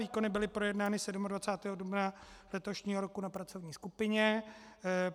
Výkony byly projednány 27. dubna letošního roku na pracovní skupině.